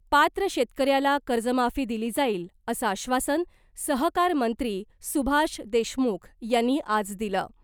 पात्र शेतकऱ्याला कर्जमाफी दिली जाईल , असं आश्वासन सहकारमंत्री सुभाष देशमुख यांनी आज दिलं .